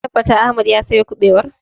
Kin tabbata Ahmed ya sayo ƙubewar?